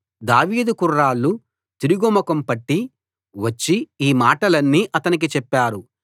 దావీదు కుర్రాళ్ళు తిరుగు ముఖం పట్టి వచ్చి ఈ మాటలన్నీ అతనికి చెప్పారు